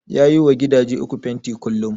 Ya yi wa gidaje uku fenti kullum